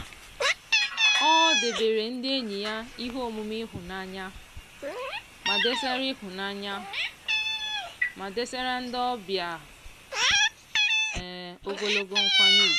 ọ debeere ndị enyi ya ihe omume ịhụnanya ma desara ịhụnanya ma desara ndị obịa ogologo nkwanye ugwu.